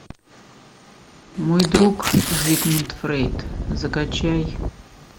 мой друг зигмунд фрейд закачай